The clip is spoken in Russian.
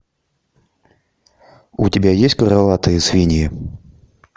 у тебя есть крылатые свиньи